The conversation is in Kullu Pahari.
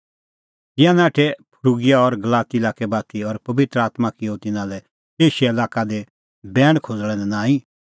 तिंयां नाठै फ्रूगिआ और गलाती लाक्कै बाती और पबित्र आत्मां किअ तिन्नां लै एशिया लाक्कै दी बैण खोज़णा लै नांईं